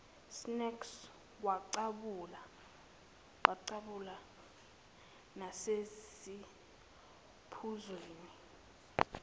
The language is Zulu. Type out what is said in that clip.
snacks waqhabula nasesiphuzweni